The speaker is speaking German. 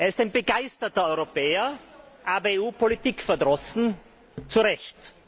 Er ist ein begeisterter Europäer, aber EU politikverdrossen zu Recht.